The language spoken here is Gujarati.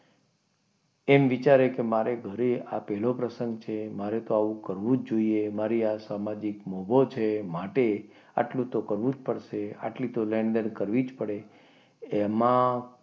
એમ વિચારે કે મારે ઘરે આ પહેલો પ્રસંગ છે મારે તો આવું કરવું જ જોઈએ મારે આ સામાજિક મોભો છે માટે આટલો તો કરવું જ પડશે આટલી તો લેણદેણ કરવી જ પડશે એમાં,